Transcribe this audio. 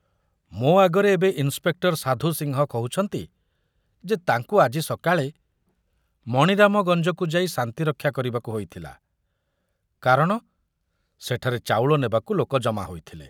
ମୋ ଆଗରେ ଏବେ ଇନ୍ସପେକ୍ଟର ସାଧୁ ସିଂହ କହୁଛନ୍ତି ଯେ ତାଙ୍କୁ ଆଜି ସକାଳେ ମଣିରାମଗଞ୍ଜକୁ ଯାଇ ଶାନ୍ତିରକ୍ଷା କରିବାକୁ ହୋଇଥିଲା, କାରଣ ସେଠାରେ ଚାଉଳ ନେବାକୁ ଲୋକ ଜମା ହୋଇଥିଲେ।